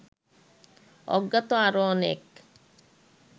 অজ্ঞাত আরো অনেক